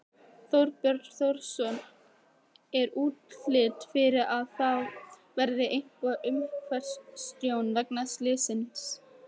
Þorbjörn Þórðarson: Er útlit fyrir að það verði eitthvað umhverfistjón vegna slyssins?